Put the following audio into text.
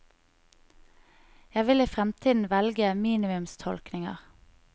Jeg vil i fremtiden velge minimumstolkninger.